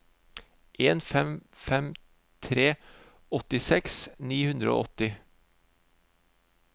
en fem fem tre åttiseks ni hundre og åtti